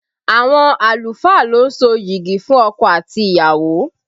Àwọn àlùfáà lo ń so yigi fún ọkọ àti ìyàwó